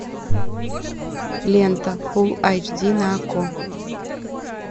лента фул айч ди на окко